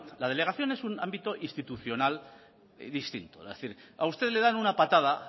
la delegación es un ámbito institucional distinto es decir a usted le dan una patada